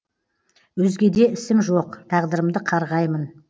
өзгеде ісім жоқ тағдырымды қарғаймын